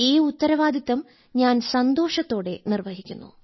ഈ ഉത്തരവാദിത്തം ഞാൻ സന്തോഷത്തോടെ നിർവ്വഹിക്കുന്നു